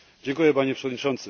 Panie Przewodniczący!